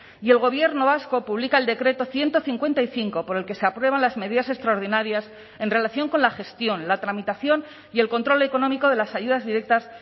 y el gobierno vasco publica el decreto ciento cincuenta y cinco por el que se aprueban las medidas extraordinarias en relación con la gestión la tramitación y el control económico de las ayudas directas